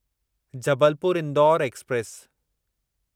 Jabalpur Indore express